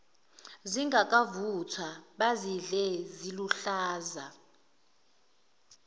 zingakavuthwa bazidle ziluhlaza